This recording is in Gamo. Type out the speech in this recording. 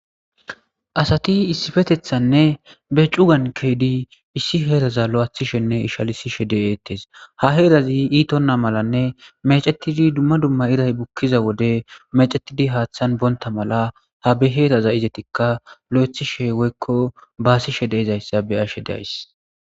asati issifetethanne be cugan keedi issi heeraza lo7athishenne ishalisishe deeettes ha heerazi iitonna malanne mecetidi dumma dumma iray bukkiza wode mecetidi haaththan bonta mala ha beheeraza izetikka lo7ethishe woykko baasishe de izayssa beyashe days